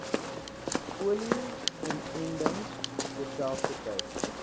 polio inentings terselfdertyd